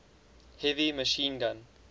heavy machine gun